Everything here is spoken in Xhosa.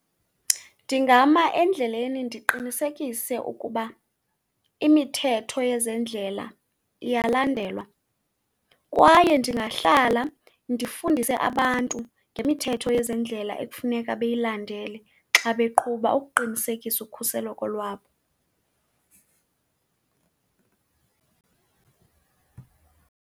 Ndingama endleleni ndiqinisekise ukuba imithetho yezendlela iyalandelwa, kwaye ndingahlala ndifundise abantu ngemithetho yezendlela ekufuneka beyilandele xa beqhuba ukuqinisekisa ukhuseleko lwabo.